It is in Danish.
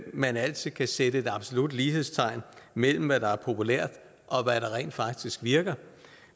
man altid kan sætte absolut lighedstegn mellem hvad der er populært og hvad der rent faktisk virker